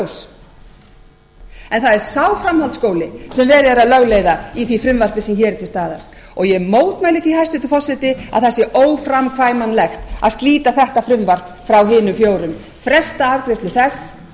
það er sá framhaldsskóli sem verið er að lögleiða ívvþí frumvarpi sem hér er til staðar og ég mótmæli því hæstvirtur forseti að það sé óframkvæmanlegt að slíta þetta frumvarp frá hinum fjórum fresta afgreiðslu þess